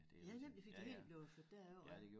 Ja ja men vi fik det hele blev jo flyttet derover